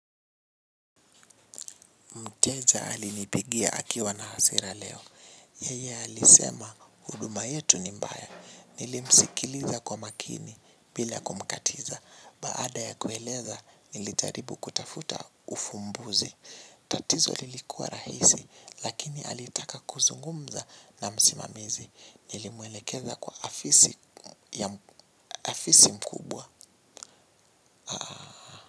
Mteja alinipigia akiwa na hasira leo. Yeye alisema huduma yetu ni mbaya. Nilimsikiliza kwa makini bila kumkatiza. Baada ya kueleza nilijaribu kutafuta ufumbuzi. Tatizo lilikuwa rahisi lakini alitaka kuzungumza na msimamizi. Nilimwelekeza kwa afisi mkubwa.